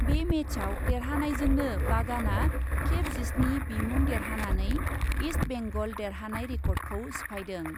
बे मेचआव देरहानायजोंनो बागानआ खेब जिस्नि बिमुं देरहानानै इस्ट बेंगल देरहानाय रेकर्डखौ सिफायदों।